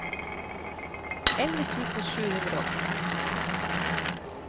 elleve tusen sju hundre og åttifem